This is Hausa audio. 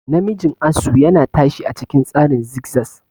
Namijin asu yana tashi a cikin tsarin zigzaz.